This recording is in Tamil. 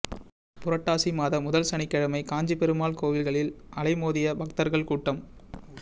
புரட்டாசி மாத முதல் சனிக்கிழமை காஞ்சி பெருமாள் கோயில்களில் அலைமோதிய பக்தர்கள் கூட்டம்